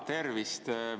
Tervist!